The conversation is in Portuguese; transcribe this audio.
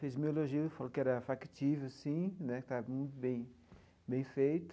Fez um elogio, ele falou que era factível sim, né que estava muito bem bem feito.